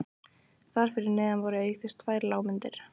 Þar fyrir neðan voru auk þess tvær lágmyndir